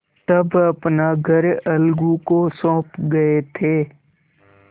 तब अपना घर अलगू को सौंप गये थे